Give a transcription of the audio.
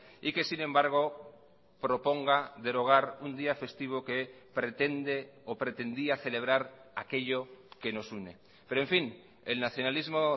y que sin embargo proponga derogar un día festivo que pretende o pretendía celebrar aquello que nos une pero en fin el nacionalismo